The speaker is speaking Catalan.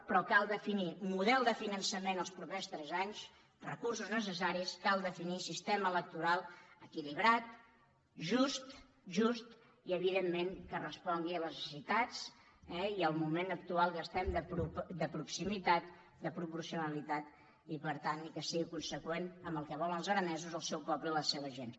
però cal definir un model de finançament els propers tres anys recursos necessa·ris cal definir sistema electoral equilibrat just just i evidentment que respongui a les necessitats eh i al moment actual en què estem de proximitat de propor·cionalitat i per tant que sigui conseqüent amb el que volen els aranesos el seu poble i la seva gent